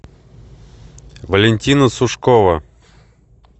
валентина сушкова